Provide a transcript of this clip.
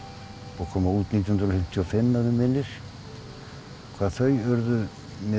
og kom út nítján hundruð fimmtíu og fimm að mig minnir hvað þau urðu mér